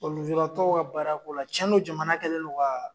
Bɔn lujuratɔw ka baarako la cɛn do jamana kɛlen do kaa